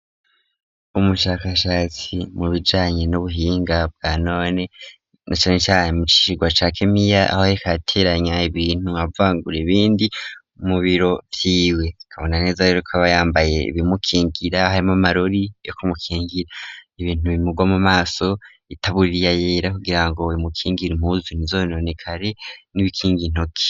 Umushakashatsi mu bijanye n'ubuhinga bwanone na canecane mu cigwa ca kemiya, aho yariko arateranya ibintu avangura ibindi mu biro vyiwe, tukabona neza yuko aba yambaye ibimukingira harimwo amarori yo kumukingira ibintu bimugwa mu maso, itaburiya yera kugira ngo bimukingire impuzu ntizononekare, n'ibikinga intoki.